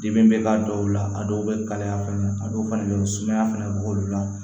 Dimi bɛ k'a dɔw la a dɔw bɛ kalaya fɛnɛ a dɔw fana bɛ sumaya fɛnɛ b'olu la